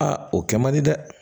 Aa o kɛ man di dɛ